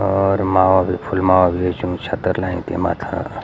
और माला भी फूल माला भी रख्युं छत्तर लायी ते माथा।